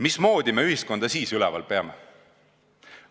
Mismoodi me ühiskonda siis üleval peame?